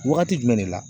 Wagati jumɛn de la